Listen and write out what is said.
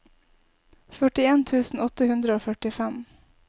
førtien tusen åtte hundre og førtifem